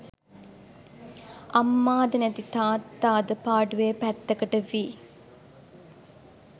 අම්මාද නැති තාත්තාද පාඩුවේ පැත්තකට වී